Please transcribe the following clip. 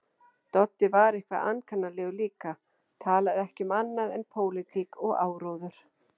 Doddi var eitthvað ankannalegur líka, talaði ekki um annað en pólitík og áróður.